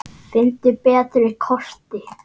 Finndu betri kosti!